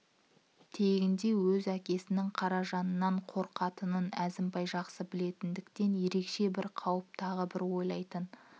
тегінде өз әкесінің қаражаннан қорқатынын әзімбай жақсы білетіндіктен ерекше бір қауіпті тағы бір ойлайтын